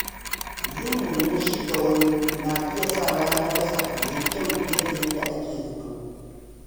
Yin murmushi ga wani na iya sa ranarsa yayi kyau fiye da yadda ake zato.